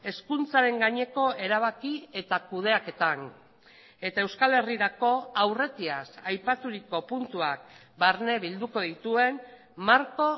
hezkuntzaren gaineko erabaki eta kudeaketan eta euskal herrirako aurretiaz aipaturiko puntuak barne bilduko dituen marko